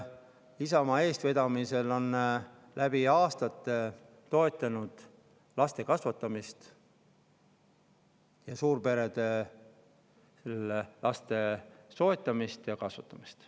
Isamaa eestvedamisel on läbi aastate toetatud laste kasvatamist ning suurperedes laste soetamist ja kasvatamist.